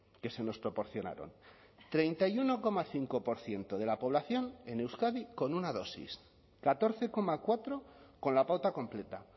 que se nos proporcionaron treinta y uno coma cinco por ciento de la población en euskadi con una dosis catorce coma cuatro con la pauta completa